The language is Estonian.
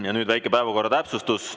Ja nüüd väike päevakorra täpsustus.